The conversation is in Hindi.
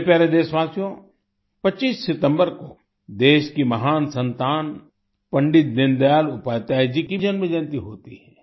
मेरे प्यारे देशवासियो 25 सितम्बर को देश की महान संतान पंडित दीन दयाल उपाध्याय जी की जन्मजयंती होती है